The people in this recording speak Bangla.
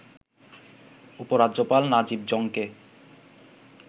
উপ-রাজ্যপাল নাজিব জং-কে